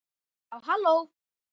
Já, halló!